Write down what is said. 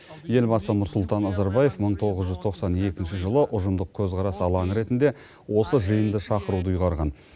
елбасы нұрсұлтан назарбаев мың тоғыз жүз тоқсан екінші жылы ұжымдық көзқарас алаңы ретінде осы жиынды шақыруды ұйғарған